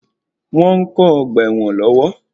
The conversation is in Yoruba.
Wọ́n ń kó ọgbà ẹwọn lọ́wọ́.